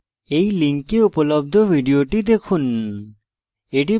এই link উপলব্ধ video দেখুন